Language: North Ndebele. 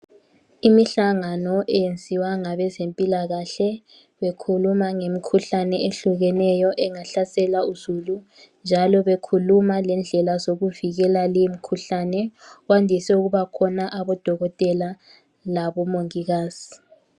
Imihlangano eyenziwa ngabezempilakahle kukhulunywa ngemikhuhlane ehlukeneyo engahlasela uzulu njalo bekhuluma lendlela zokuvikela limkhuhlane, kwandise ukubakhona abodokotela labomongikazi.